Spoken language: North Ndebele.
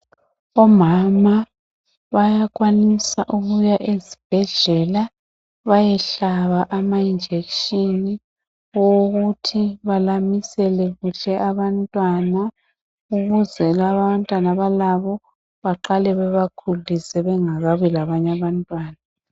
Omama bayakwanisa ukuya ezibhedlela bayehlaba ama injection awokuthi balamisele kuhle abantwana ukuze labo abantwana abalabo baqale bebakhulise bengakabi labanye abantwana.